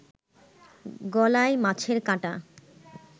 গলায় মাছের কাটা